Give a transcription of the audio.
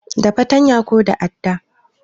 Da fatanya ko da adda